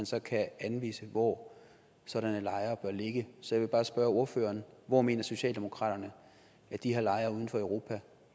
så kan anvise hvor sådanne lejre bør ligge så jeg vil bare spørge ordføreren hvor mener socialdemokratiet at de her lejre uden for europa